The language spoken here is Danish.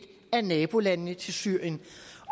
af nabolandene til syrien